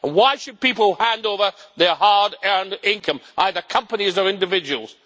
Why should people hand over their hard-earned income, whether companies or individuals?